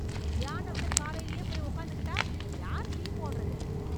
தியானம்னு காலைலயே போய் உக்காந்துகிட்டா, யார் டீ போடறது...